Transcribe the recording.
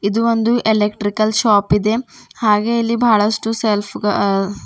ಇದು ಒಂದು electrical shop ಇದೆ ಹಾಗೆ ಇಲ್ಲಿ ಬಹಳಷ್ಟು ಸೆಲ್ಫ್ ಗಹ.